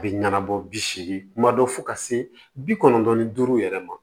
A bɛ ɲɛnabɔ bi seegin kuma dɔ fo ka se bi kɔnɔntɔn ni duuru yɛrɛ ma